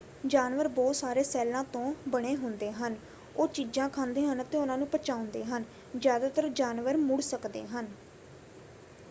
ਜਾਨਵਰ ਬਹੁਤ ਸਾਰੇ ਸੈੱਲਾਂ ਤੋਂ ਬਣੇ ਹੁੰਦੇ ਹਨ। ਉਹ ਚੀਜ਼ਾਂ ਖਾਂਦੇੇ ਹਨ ਅਤੇ ਉਹਨਾਂ ਨੂੰ ਪਚਾਉਂਦੇ ਹਨ। ਜ਼ਿਆਦਾਤਰ ਜਾਨਵਰ ਮੁੜ ਸਕਦੇ ਹਨ।